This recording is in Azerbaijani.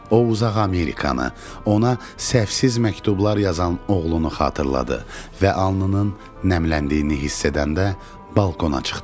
O uzaq Amerikanı, ona səhvsiz məktublar yazan oğlunu xatırladı və alnının nəmləndiyini hiss edəndə balkona çıxdı.